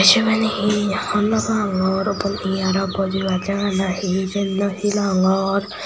sibeni hi hwr nw pangor bo iye aro bojibar jagah nahi siyen nw sinongor.